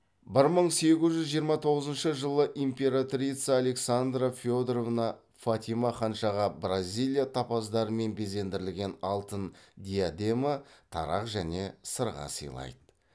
бір мың сегіз жүз жиырма тоғызыншы жылы императрица александра федоровна фатима ханшаға бразилия топаздарымен безендірілген алтын диадема тарақ және сырға сыйлайды